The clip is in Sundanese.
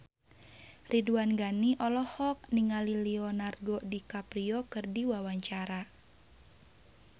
Ridwan Ghani olohok ningali Leonardo DiCaprio keur diwawancara